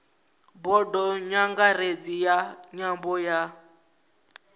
bodo nyangaredzi ya nyambo ya